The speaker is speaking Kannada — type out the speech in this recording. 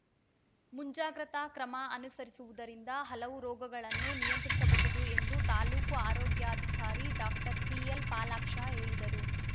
ಮುಂಜಾಗ್ರತಾ ಕ್ರಮ ಅನುಸರಿಸುವುದರಿಂದ ಹಲವು ರೋಗಗಳನ್ನು ನಿಯಂತ್ರಿಸಬಹುದು ಎಂದು ತಾಲೂಕು ಆರೋಗ್ಯಾಧಿಕಾರಿ ಡಾಕ್ಟರ್ ಸಿಎಲ್‌ಪಾಲಾಕ್ಷ ಹೇಳಿದರು